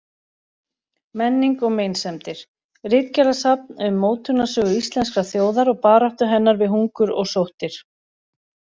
Menning og meinsemdir: Ritgerðasafn um mótunarsögu íslenskrar þjóðar og baráttu hennar við hungur og sóttir.